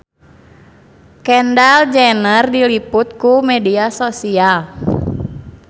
Kendall Jenner diliput ku media nasional